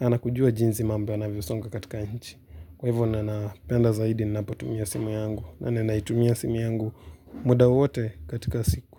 na kujua jinsi mambo yanavyo songa katika nchi. Kwa hivyo, ninapenda zaidi ninapotumia simu yangu. Naitumia simu yangu muda wowote katika siku.